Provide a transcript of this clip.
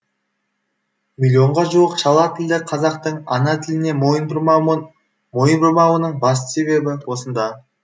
миллионға жуық шала тілді қазақтың ана тіліне мойын бұрмауының басты себебі осында